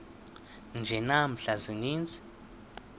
nje namhla ziintsizi